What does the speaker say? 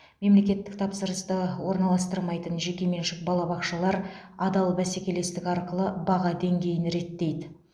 мемлекеттік тапсырысты орналастырмайтын жеке меншік балабақшалар адал бәсекелестік арқылы баға деңгейін реттейді